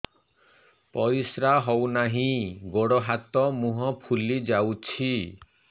ପରିସ୍ରା ହଉ ନାହିଁ ଗୋଡ଼ ହାତ ମୁହଁ ଫୁଲି ଯାଉଛି